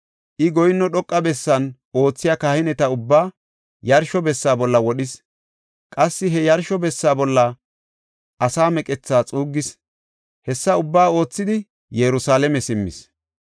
I goyinno dhoqa bessan oothiya kahineta ubba yarsho bessa bolla wodhis; qassi he yarsho bessa bolla asaa meqethaa xuuggis. Hessa ubbaa oothidi, Yerusalaame simmis.